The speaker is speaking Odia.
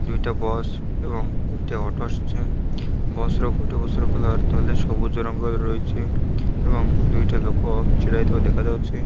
ଦୁଇଟା ବସ ଏବଂ ଗୋଟେ ଅଟୋ ବସ ର ଗୋଟେ ବସ ର କଲର ତଲେ ସବୁଜ ରଙ୍ଗ ର ରହିଛି ଏବଂ ଦୁଇଟା ଲୋକ ଛିଡ଼ା ହେଇଥିବା ଦେଖା ଯାଉଛି।